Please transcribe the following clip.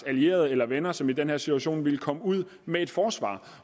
allierede eller venner som i den her situation ville komme ud med et forsvar